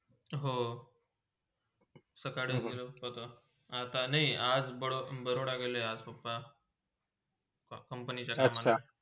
हो सकाळी बघलू बघ आता नाय, आज बरो Baroda आज गेले papa company कामानी.